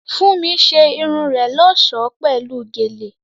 Fúnmi ṣe irun rẹ̀ lọ́ṣọ̀ọ́ pẹ̀lú gèlè